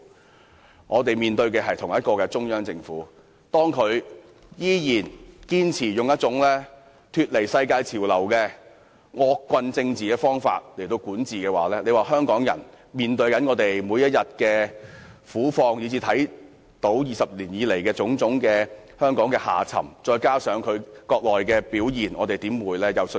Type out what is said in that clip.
當我們看到中央政府依然堅持以一種脫離世界潮流的惡棍政治方法來管治國家；看到香港人每天面對的苦況；看到20年來香港的種種沉淪；以至看到內地官員的表現，我們怎會有信心？